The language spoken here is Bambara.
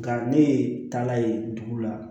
Nka ne ye taala ye dugu la